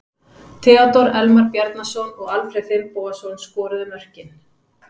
Theodór Elmar Bjarnason og Alfreð Finnbogason skoruðu mörkin.